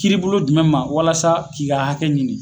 Kiiri bolo jumɛn ma walasa k'i ka hakɛ ɲini